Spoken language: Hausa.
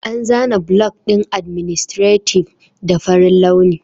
An zana block ɗin adminstative da farin launi